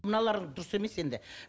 мыналар дұрыс емес енді